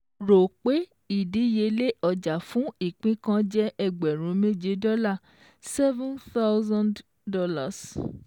Rò pé ìdíyelé ọjà fún ìpín kan jẹ́ Ẹgbẹ̀rún méje dọ́là seven thousand dollars